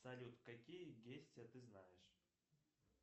салют какие действия ты знаешь